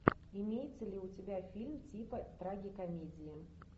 имеется ли у тебя фильм типа трагикомедии